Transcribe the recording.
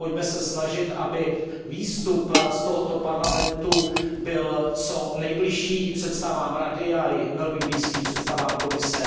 Pojďme se snažit, aby výstup z tohoto Parlamentu byl co nejbližší představám Rady a velmi blízký představám Komise.